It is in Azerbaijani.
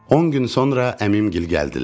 On gün sonra əmim gil gəldilər.